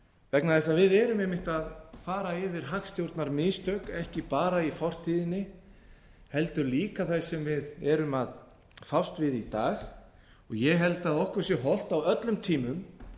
vegna þess að við erum einmitt að fara yfir hagstjórnarmistök ekki bara í fortíðinni heldur líka það sem við erum að fást við í dag ég held að okkur sé hollt á öllum tímum